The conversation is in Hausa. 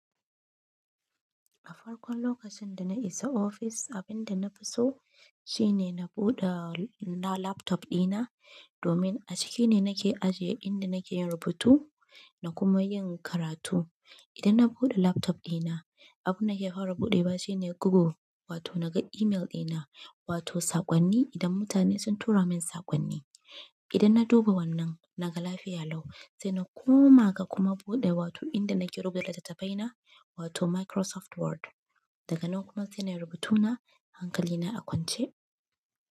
A farkon lokacin da na isa ofis, abin da nafi so shine na buɗe laptop ɗina domin a ciki ne nake ajiye inda nake yin rubutu da kuma yin karatu. Idan na buɗe laptop ɗina, abin da ke fara buɗewa shi ne Google wato naga email ɗina wato saƙonni idan mutane sun tura min saƙonni. Idan na duba wannan naga lafiya lau, sai na koma ga kuma buɗe wato inda nake rubuta littattafaina wato Microsoft Word. Daga nan kuma sai nayi da rubutuna, hankali na a kwance.